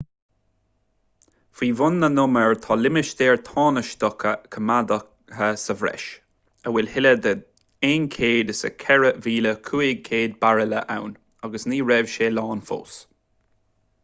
faoi bhun na n-umar tá limistéar tánaisteach coimeádta sa bhreis a bhfuil toilleadh de 104,500 bairille ann agus ní raibh sé lán fós